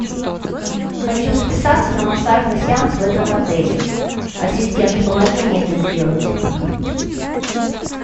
хочу записаться на массажный сеанс в этом отеле ассистент помоги мне это сделать